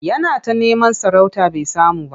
Yana ta neman sarauta bai samu ba.